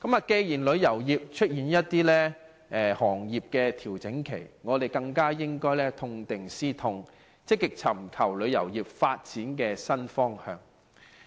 既然旅遊業出現調整，我們更應痛定思痛，積極尋求旅遊業發展的新方向。